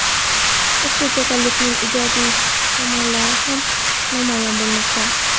ushbu kasallikning ijobiy tomonlari ham namoyon bo‘lmoqda.